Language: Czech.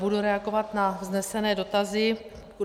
Budu reagovat na vznesené dotazy.